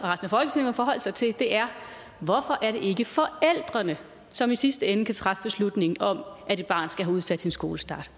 og forholde sig til er hvorfor er det ikke forældrene som i sidste ende kan træffe beslutningen om at et barn skal have udsat sin skolestart